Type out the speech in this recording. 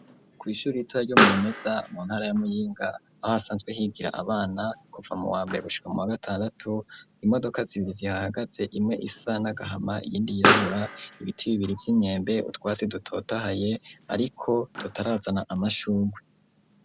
kw'ishuri ritoya ryo Murumeza mu ntara ya Muyinga aho hasanzwe higira abana kuva mu wa mbere gushika mu wa gatandatu, imodoka zibiri zihahagaze imwe isa nagahama iyindi yirabura, ibiti bibiri vy'imyembe ,utwatsi dutotahaye ariko tutarazana amashurwe.